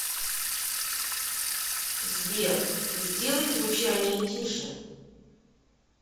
сбер сделай звучание тише